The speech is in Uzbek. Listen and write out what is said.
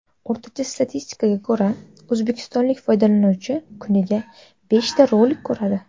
O‘rtacha statistikaga ko‘ra, o‘zbekistonlik foydalanuvchi kuniga beshta rolik ko‘radi.